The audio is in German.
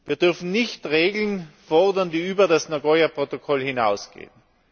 Wir dürfen nicht Regeln fordern, die über das Nagoya Protokoll hinausgehen.